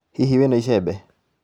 Hihi wĩ na icembe?